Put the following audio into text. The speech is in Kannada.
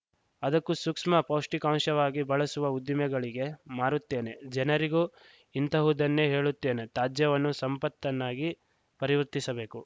ಅದಕ್ಕೂ ಸೂಕ್ಷ್ಮ ಪೌಷ್ಟಿಕಾಂಶವಾಗಿ ಬಳಸುವ ಉದ್ದಿಮೆಗಳಿಗೆ ಮಾರುತ್ತೇನೆ ಜನರಿಗೂ ಇಂತಹುದನ್ನೇ ಹೇಳುತ್ತೇನೆ ತ್ಯಾಜ್ಯವನ್ನು ಸಂಪತ್ತನ್ನಾಗಿ ಪರಿವರ್ತಿಸಬೇಕು